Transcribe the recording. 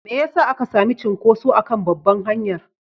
Me ya sa aka sami cunkuso a kan babbar hanyar?